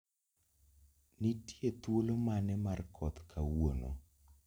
Nitie thuolo mane mar koth kawuono